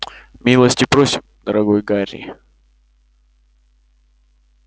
милости просим дорогой гарри